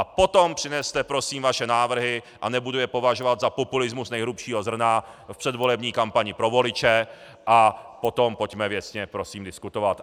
A potom přineste prosím vaše návrhy a nebudu je považovat za populismus nejhrubšího zrna v předvolební kampani pro voliče a potom pojďme věcně prosím diskutovat.